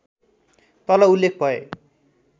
तल उल्लेख भए